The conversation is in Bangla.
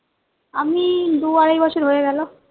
আমি দু আড়াই বছর হয়ে গেলো